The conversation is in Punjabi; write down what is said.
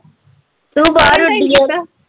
ਤੂੰ ਬਾਹਰ ਉੱਡੀਂ ਐ ਨਾ